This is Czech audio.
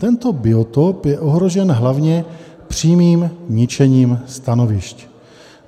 Tento biotop je ohrožen hlavně přímým ničením stanovišť.